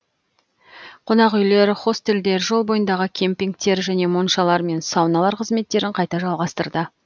қонақүйлер хостелдер жол бойындағы кемпингтер және моншалар мен сауналар қызметтерін қайта жалғастырды